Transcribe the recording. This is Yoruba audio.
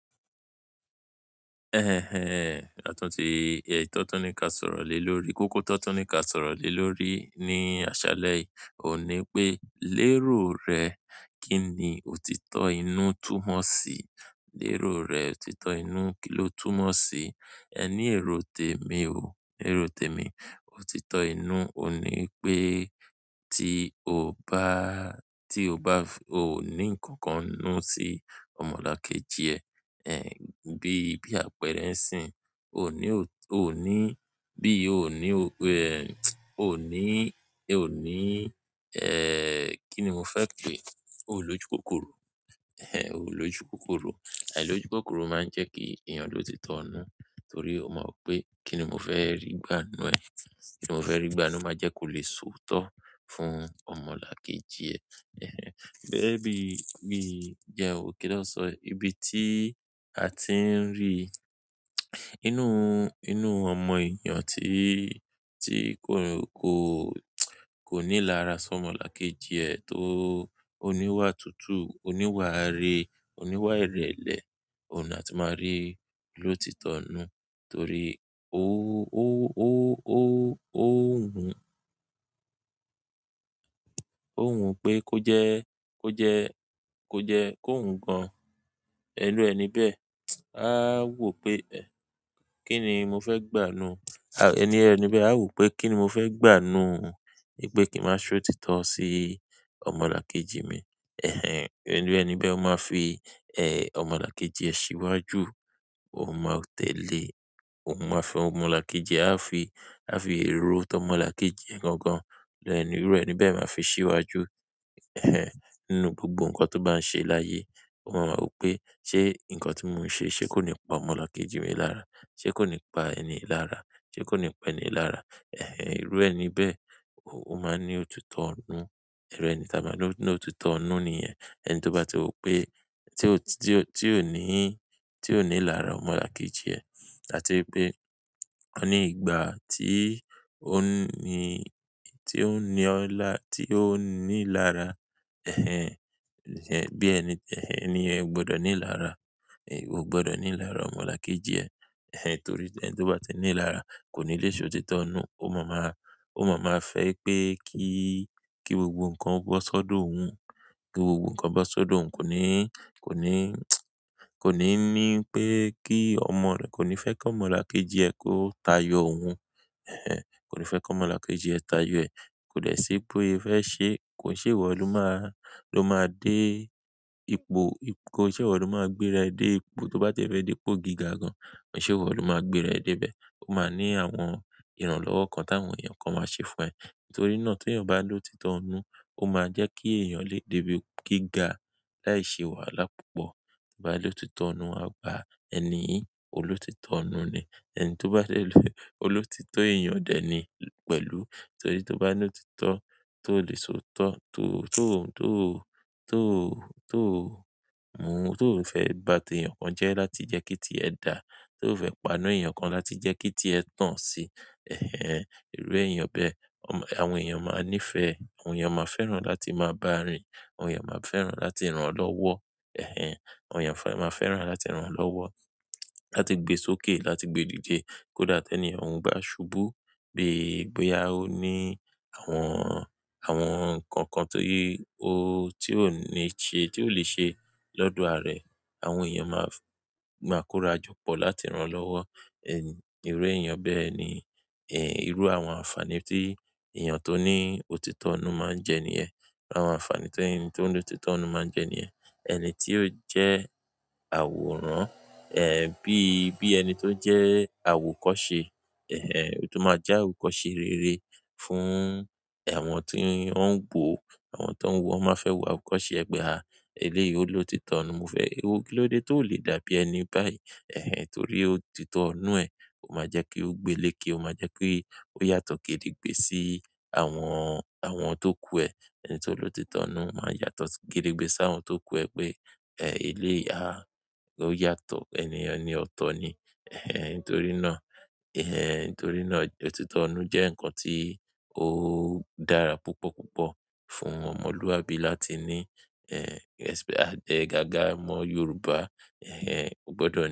Ẹhẹń ẹ, àtún ti, èyí tón tun ní ká sọ̀rọ̀ lé lórí, kókó tan tun ní ká sọ̀rọ̀ lé lórí ní àṣálẹ yìí, oun ní pé lérò rẹ kíni òtítọ́ inú túmọ̀ sí? Lérò rẹ òtítọ́ inú kí ló túmọ̀ sí? Ẹ ní èrò témi ò, èrò témi, òtítọ́ inú òun ní pé tí o bá, tí o bá, o ò ní ǹkan kan nnù sí ọmọlàkejì ẹ, ẹh, bí, bí àpẹrẹ ẹ sin. O ò ní, o ò ní, bí o ò ní, ẹh, o ò ní, o ò ní, ẹh, kíni mo fẹ́ pé? O ò ní ojúkòkòrò, ẹh, o ò ní ojúkòkòrò. Ai lojukòkòrò máa ń jẹ́ kí èèyàn ló ti tọ́ inú, torí o ma wo pé kíni mo fẹ́ rí gbà n nù ẹ. Kíni mo fẹ́ rí gbà o máa jẹ́ kó lè sọ̀oto fún ọmọlàkejì ẹ, ẹhẹń. Gẹ́gẹ́ bí, bí i jẹ́n wó, kí ló sọ? Ibi tí a ti ń rí inú, inú ọmọ èèyàn tí, tí kò, kò, kò ní lára ṣọmọlàkejì ẹ tó, o níwà tútù, o níwà ire, o níwà ìrẹ̀lẹ̀, òun ni a ti máa rí ló ti tọ́ inú. Torí ó, ó, ó, ó, ó hun, ó hun pé kó jẹ́, kó jẹ́, kó jẹ́, kó hun gan-an irù ẹni bẹ́ẹ̀. A wò pé ẹ́, kíni mo fẹ́ gbà nù? Ẹni ẹni bẹ́ẹ̀ a wò pé kíni mo fẹ́ gbà n nù? Pé kí n má ṣe ótitọ́ sí ọmọlàkejì mi. Ẹhẹń, iru ẹni bẹ́ẹ̀, ó máa fi, ẹh, ọmọlàkejì ẹ síwájú, ó máa tẹ̀lé, òun máa fi ọmọlàkejì, e a fi, a fi rò tómọlàkejì gangan. Ẹnu iru ẹni bẹ́ẹ̀ máa fi síwájú, ẹhẹń, nínú gbogbo ǹkan tó bá ń ṣe láyé. Ó máa ma wo pé ṣé ǹkan tí mò ń ṣe ṣé kó ní pa ọmọlàkejì mi lára? Ṣé kó ní pa ẹni lára? Ṣé kó ní pa ẹni lára? Ẹhẹń, irú ẹni bẹ́ẹ̀, o máa ní òtítọ́ n nu. Ẹni tí a máa lò ní òtítọ́ n nu nìyẹn. Ẹni tó bá ti mọ̀ pé tí ò, tí ò, tí ò ní, tí ò ní lára ọmọlàkejì ẹ, àti wipé ọ ní ìgbà tí ó ní, tí ó ní ọ lá, tí ó ní lára, ẹhẹń, bí ẹni, ẹni yen o gbọdọ̀ ní lára, o gbọdọ̀ ní ilára ọmọlàkejì ẹ. Ẹhẹń torí ẹni tó bá ti ní lára kò ní lè ṣe òtítọ́ ọn nu. Ó ma máa, ó ma máa fẹ́ pé kí, kí gbogbo ǹkan bọ́ sọ́dọ̀ òun, kí gbogbo ǹkan bọ́ sọ́dọ̀ òun. Kò ní, kò ní, kò ní ní pé kí ọmọ rẹ, kò ní fẹ́ kí ọmọlàkejì ẹ kó tayò òun. Ẹhẹń, kò ní fẹ́ kí ọmọlàkejì ẹ tayò ẹ̀. Ko de si bo se fe se kon se iwo lo ma gbéra e de ipò to ba de fe de ipò gíga gan. Kò ṣe ìwọ ló máa gbé rẹ̀ dé ibẹ̀. Ó máa ní àwọn ìrànlọ́wọ́ kan táwọn èèyàn kan máa ṣe fún ẹ. Nítorí náà tí èèyàn bá ní òtítọ́ inú, ó máa jẹ́ kí èèyàn lè dé ibi gíga láì ṣe wàhálà púpọ̀. To ba lòtítọ́ nnu, a gbà ẹni yi olótítọ́ nnu nì. Ẹni tó bá dè, olótítọ́ èèyàn dẹ̀ ni pẹ̀lú. Torí tí ó bá ní òtítọ́ tó lè soòtọ́, tó, tó, tó, tó, tó mú, tó fẹ́ bá ti èèyàn kan jẹ́ láti jẹ́ kí tí ẹ da, tó fẹ́ pàna èèyàn kan láti jẹ́ kí tí ẹ tàn sí. Ẹhẹń, irú èèyàn bẹ́ẹ̀, àwọn èèyàn máa ń nìfẹ́ e, àwọn èèyàn máa fẹ́ràn láti máa bá rìn, àwọn èèyàn máa fẹ́ràn láti rán lọ́wọ́. Ẹhẹń, àwọn èèyàn fẹ́, máa fẹ́ràn láti rán lọ́wọ́, láti gbe sókè, láti gbe dí dẹ̀. Kódà tí ẹniyen òun bá ṣubú bi boyà ó ní àwọn, àwọn ǹkan kan tó yí ó, tí ò ní ṣe, tí ò lẹ́ ṣe lọ́dọ̀ àra e. Àwọn èèyàn máa, máa kóra jọ pọ̀ láti rán lọ́wọ́. Irun eeyan be ni iru àwọn anfani ti eyan to ni òtítọ́ inú maa n je niyen. Àwọn ànfàní tí ẹni tó ní òtítọ́ inú máa ń jẹ ní yẹn. Ẹni tí ó jẹ́ àwòrán, ẹhẹń, bíi, bí ẹni tó jẹ́ àwòkọ́ṣe, ẹhẹń, to máa jẹ́ àwòkọ́ṣe rẹre fún àwọn tí wọ́n ń woo, àwọn tí wọ́n ń wọ̀ o máa n fẹ́ wọ àwòkọ́ṣe e pe a. Eléyìí ó lóòtítọ́ nnu, mo fẹ́, ìwo kí ló dé tó lè dàbí ẹni báyìí? Ẹhẹń torí òtítọ́ inú ẹ̀ ó máa jẹ́ kí ó gbe léèké, ó máa jẹ́ ki ó yàtọ̀ kédegbé sí àwọn, àwọn tó kú ẹ. Ẹni tó ló òtítọ́ nnu máa ń yàtọ̀ kédegbé sí àwọn tó ku ẹ pé, ẹh, eléyi a ó yàtọ̀, ẹni ènìyen ení ọ̀tọ̀ ni. Ẹhẹń nítorí náà, ẹ̀hẹ́n nítorí náà òtítọ́ nnu jẹ́ ǹkan tí ó dára púpọ̀ púpọ̀ fún ọmọlúwàbí láti ní, ẹh, àgága omọ́ Yorùbá. Ẹhẹń, ó gbọdọ̀ ni.